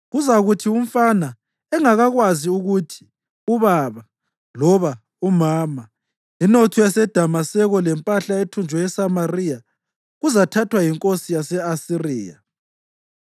Kuzakuthi umfana engakakwazi ukuthi ‘Ubaba’ loba ‘Umama,’ inotho yaseDamaseko lempahla ethunjwe eSamariya kuzathathwa yinkosi yase-Asiriya.”